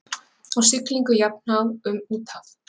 Á siglingu jafnhá um úthaf.